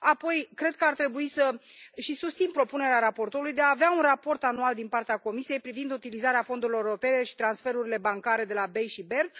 Apoi cred că ar trebui să și susțin propunerea raportorului de a avea un raport anual din partea Comisiei privind utilizarea fondurilor europene și transferurile bancare de la BEI și BERD.